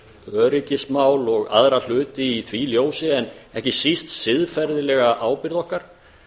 öryggismál og aðra hluti í því ljósi en ekki síst siðferðislega ábyrgð okkar